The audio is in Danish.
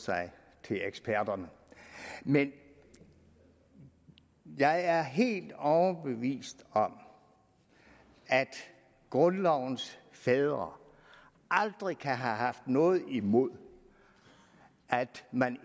sig til eksperterne men jeg er helt overbevist om at grundlovens fædre aldrig kan have haft noget imod at man